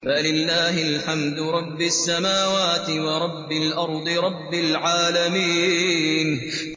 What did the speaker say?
فَلِلَّهِ الْحَمْدُ رَبِّ السَّمَاوَاتِ وَرَبِّ الْأَرْضِ رَبِّ الْعَالَمِينَ